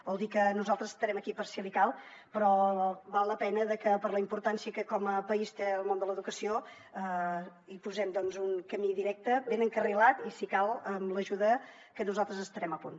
vol dir que nosaltres estarem aquí per si li cal però val la pena que per la importància que com a país té el món de l’educació hi posem doncs un camí directe ben encarrilat i si cal amb l’ajuda que nosaltres estarem a punt